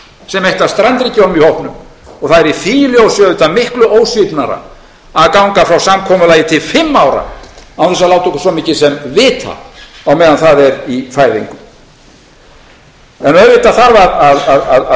sem eitt af strandríkjunum í hópnum og það er í því ljósi auðvitað miklu ósvífnara að ganga frá samkomulagi til fimm ára án þess að láta okkur svo mikið sem vita á meðan það er í fæðingu en auðvitað þarf að